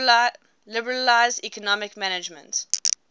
liberalize economic management